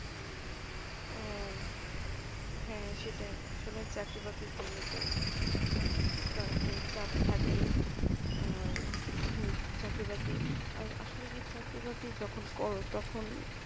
ও হ্যাঁ আসলে সেটাই আসলে চাকরি বাকরি করলে তো একটু চাপ থাকেই আর চাকরি বাকরি আমার আসলে কি চাকরি বাকরি যখন করো তখন